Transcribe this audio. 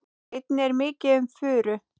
Einnig er mikið um furu.